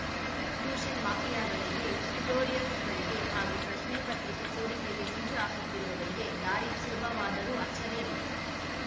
tuition ಮಾಫಿಯಾಗಳಿಗೆ ಟ್ಯುಟೋರಿಯಲ್ಸ್‌ಗಳಿಗೆ ಹಾಗೂ ಪ್ರಶ್ನೆ ಪತ್ರಿಕೆ ಸೋರಿಕೆಗೆ ಹೊಂಚು ಹಾಕುತ್ತಿರುವವರಿಗೆ ದಾರಿ ಸುಲಭವಾದರೂ ಆಶ್ಚರ್ಯವಿಲ್ಲ